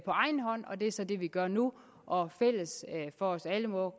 egen hånd og det er så det vi gør nu og fælles for os alle må